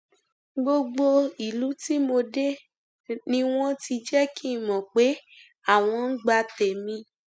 gbogbo ìlú tí mo dé ni wọn ti jẹ kí n mọ pé àwọn ń gba tèmi